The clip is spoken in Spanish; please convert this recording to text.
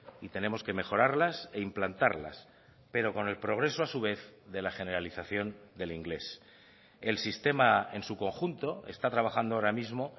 y tenemos que mejorarlas e implantarlas pero con el progreso a su vez de la generalización del inglés el sistema en su conjunto está trabajando ahora mismo